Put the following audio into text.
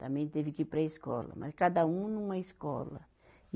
Também teve que ir para a escola, mas cada um numa escola.